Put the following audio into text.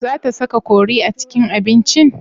Za ta saka kori a cikin abincin?